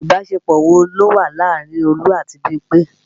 Ìbásepọ̀ wo ló wà láàárín Olú àti Bímpé